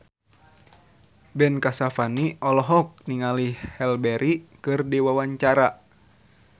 Ben Kasyafani olohok ningali Halle Berry keur diwawancara